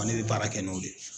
Wa ne bɛ baara kɛ n'o de ye.